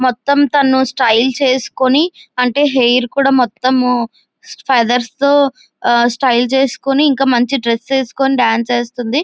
మొత్తం తాను స్టైల్ చేసుకుని అంటే హెయిర్ కూడా మొత్తం ఫేథెర్స్ తో స్టైల్ చేసుకోని ఇంకా మంచి డ్రెస్స్ వేసుకొని డాన్స్ వేస్తుంది.